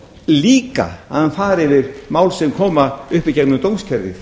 líka að hann fari yfir mál sem koma upp í gegnum dómskerfið